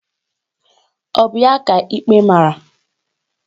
Ọ bụ ya ka ikpe mara?